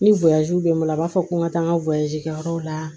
Ni bɛ n bolo a b'a fɔ ko n ka taa n ka kɛ yɔrɔ la